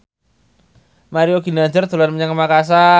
Mario Ginanjar dolan menyang Makasar